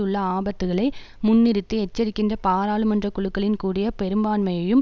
உள்ள ஆபத்துக்களை முன்னிறுத்தி எச்சரிக்கின்ற பாராளுமன்ற குழுக்களின் கூடிய பெரும்பான்மையையும்